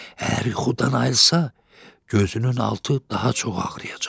Əgər yuxudan ayılsa, gözünün altı daha çox ağrıyacaq.